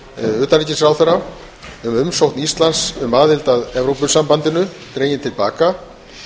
utanríkisráðherra um umsókn íslands um aðild að evrópusambandinu dregin til baka